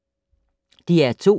DR2